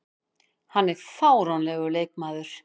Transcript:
Hann er fáránlegur leikmaður.